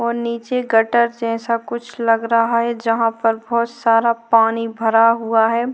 और नीचे गटर जैसा कुछ लग रहा है जहां पर बहुत सारा पानी बरा हुआ है।